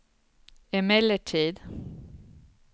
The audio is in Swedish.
emellertid